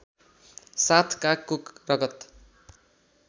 साथ कागको रगत